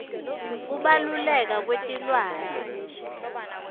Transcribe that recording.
kubaluleka kwetilwane